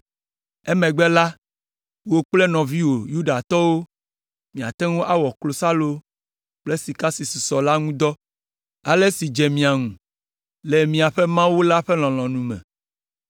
Emegbe la, wò kple nɔviwò Yudatɔwo miate ŋu awɔ klosalo kple sika si susɔ la ŋu dɔ ale si dze mia ŋu le miaƒe Mawu la ƒe lɔlɔ̃nu me.